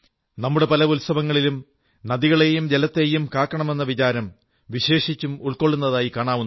നമ്മുടെ പല ഉത്സവങ്ങളിലും നദികളേയും ജലത്തേയും കാക്കണമെന്ന വികാരം വിശേഷിച്ചും ഉൾക്കൊള്ളുന്നതായി കാണാവുന്നതാണ്